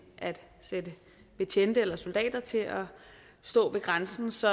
at sætte betjente eller soldater til at stå ved grænsen så